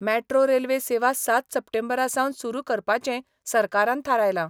Metro railway सेवा सात सप्टेंबरासावन सुरू करपाचेंय सरकारान थारायला.